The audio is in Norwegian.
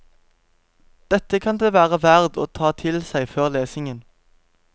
Dette kan det være verd å ta til seg før lesningen.